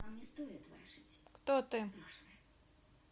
кто ты